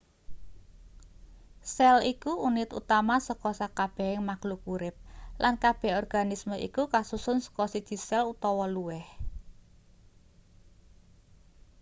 sel iku unit utama saka sakabehing makhluk urip lan kabeh organisme iku kasusun saka siji sel utawa luwih